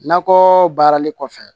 Nakɔ baarali kɔfɛ